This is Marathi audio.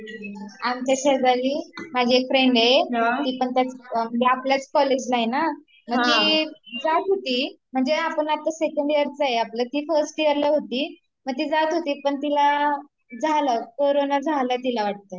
आमच्या शेजारी माझी एक फ्रेंड आहे म्हणजे आपल्याच कॉलेजला आहेना तर ती जात होती म्हणजे आपलं आता सेकंड यियरच आहे आपलं तर ती फस्ट यियरला होती पण ती जात होती तर तिला झाला कोरोना वाटत